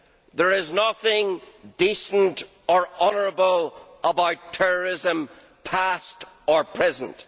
There is nothing decent or honourable about terrorism, past or present.